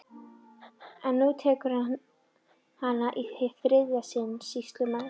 En nú tekur hann hana í hið þriðja sinn, sýslumaður!